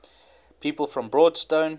people from broadstone